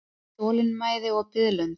Þolinmæði og biðlund.